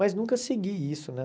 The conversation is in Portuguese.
Mas nunca segui isso, né?